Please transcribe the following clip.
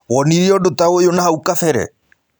Wonĩre ũndũ ta ũyũ nahaũ kabere?